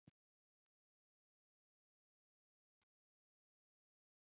nafnið mun vera komið úr latínu